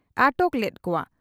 ᱟᱴᱚᱠ ᱞᱮᱫ ᱠᱚᱼᱟ ᱾